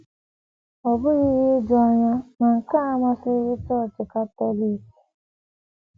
Ọ bụghị ihe ijuanya na nke a amasịghị Chọọchị Katọlik.